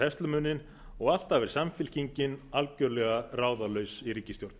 herslumuninn og alltaf er samfylkingin algjörlega ráðalaus í ríkisstjórn